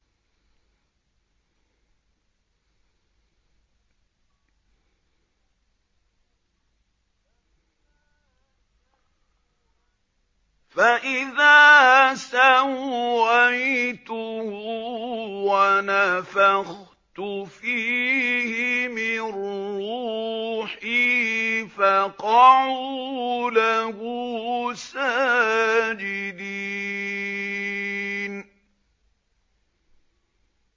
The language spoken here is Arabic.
فَإِذَا سَوَّيْتُهُ وَنَفَخْتُ فِيهِ مِن رُّوحِي فَقَعُوا لَهُ سَاجِدِينَ